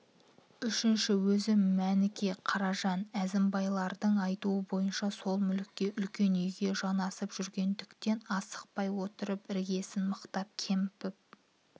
үшінші өзі мәніке қаражан әзімбайлардың айтуы бойынша сол мүлікке үлкен үйге жанасып жүргендіктен асықпай отырып іргесін мықтап көміп